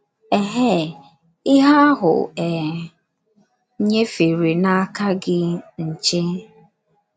Ehee ihe ahụ e nyefere n'aka gị nche.